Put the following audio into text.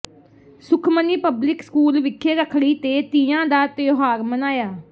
Sukhmani public school ਵਿਖੇ ਰੱਖੜੀ ਤੇ ਤੀਆਂ ਦਾ ਤਿਉਹਾਰ ਮਨਾਇਆ